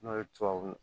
N'o ye tubabu